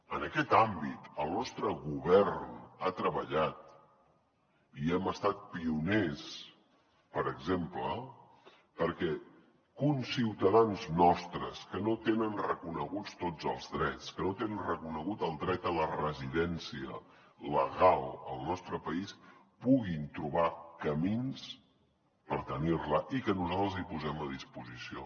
en aquest àmbit el nostre govern ha treballat i hem estat pioners per exemple perquè conciutadans nostres que no tenen reconeguts tots els drets que no tenen reconegut el dret a la residència legal al nostre país puguin trobar camins per tenir la i que nosaltres els hi posem a disposició